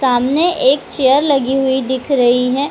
सामने एक चेयर लगी हुई दिख रही है।